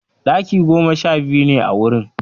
Ɗaki goma sha biyu ne a wurin.